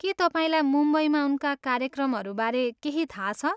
के तपाईँलाई मुम्बईमा उनका कार्यक्रमहरू बारे केही थाहा छ?